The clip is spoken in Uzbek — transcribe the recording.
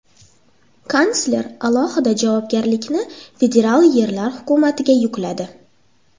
Kansler alohida javobgarlikni federal yerlar hukumatiga yukladi.